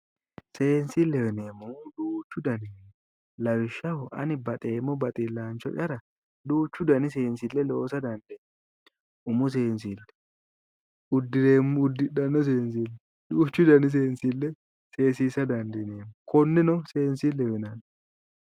Seensileho yinneemmo woyte duuchu danni seensili no, lawishshaho ani baxeemmo baxilanchora duuchu danni seensile loosa dandiinanni, umu seensile, udidhano seensile, duuchu danni seensile seeaisa dandiinanni konneno seensileho yinnanni